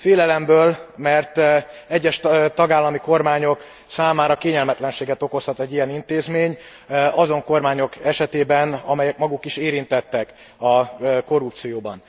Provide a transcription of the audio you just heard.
Félelemből, mert egyes tagállami kormányok számára kényelmetlenséget okozhat egy ilyen intézmény, azon kormányok esetében, amelyek maguk is érintettek a korrupcióban.